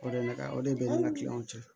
O de ka o de bɛ ne ni ka kiliyanw cɛ